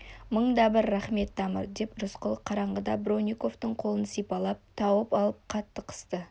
мың да бір рақмет тамыр деп рысқұл қараңғыда бронниковтың қолын сипалап тауып алып қатты қысты